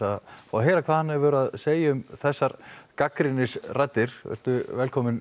heyra hvað hann hefur að segja um þessar gagnrýnisraddir vertu velkominn